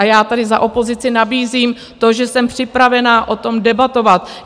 A já tady za opozici nabízím to, že jsem připravena o tom debatovat.